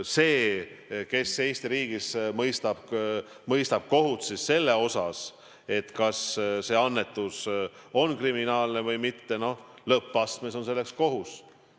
See, kes Eesti riigis mõistab kohut selle üle, kas annetus on kriminaalne või mitte, on lõppastmes ikkagi kohus.